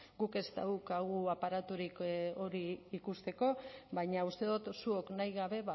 guk ez daukagu aparaturik hori ikusteko baina uste dut zuok nahi gabe